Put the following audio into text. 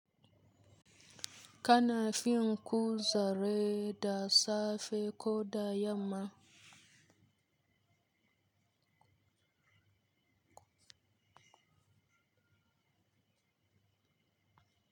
Kana fin ku zare da safe ko da yamma?